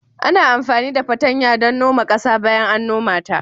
Ana amfani da patanya don noma ƙasa bayan an noma ta